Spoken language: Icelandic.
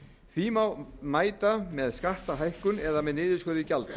því má mæta með skattahækkun eða með niðurskurði gjalda